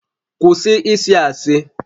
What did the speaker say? Kwụsị ịsị asị!